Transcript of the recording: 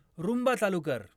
Roomba चालू कर